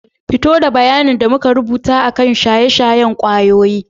Fito da bayanin da muka rubuta akan shaye-shayen kwayoyi.